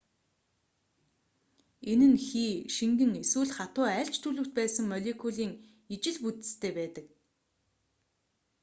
энэ нь хий шингэн эсвэл хатуу аль ч төлөвт байсан молекулын ижил бүтэцтэй байдаг